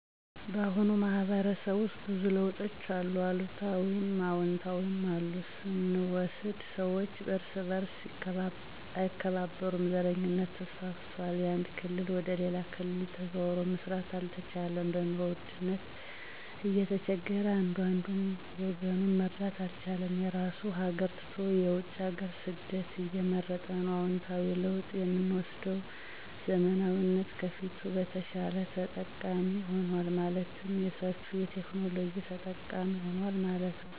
ባሁኑ ማህበረሰብ ውስጥ ብዙ ለውጦች አሉ። አሉታዊም አወንታዊም፦ አሉታዊ ስንወስድ ሰወች እርስ በርሥ አይከባበሩም፣ ዘረኝነት ተስፋፍቷል፣ ያንድ ክልል ወደ ሌላ ክልል ተዘዋዉሮ መስራት አልቻለም፣ በኑሮ ውድነት እየተቸገረ አንዱ አንዱን ወገኑን መርዳት አልቻለም፣ የራሡን ሀገር ትቶ የውጭ ሀገር ስደትን እየመረጠ ነው። አወንታዊ ለውጥ የምወስደዉ ዘመናዊነት ከፊቱ በተሻለ ተጠቃሚ ሆኗል። ማለትም በሠፊዉ የቴክኖሎጂ ተጠቃሚ ሁኗል ማለት ነዉ።